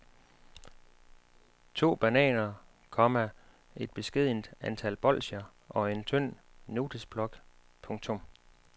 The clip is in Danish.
To bananer, komma et beskedent antal bolsjer og en tynd notesblok. punktum